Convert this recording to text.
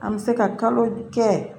An bɛ se ka kalo kɛ